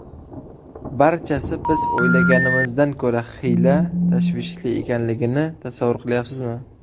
Barchasi biz o‘ylaganimizdan ko‘ra xiyla tashvishli ekanligini tasavvur qilyapsizmi?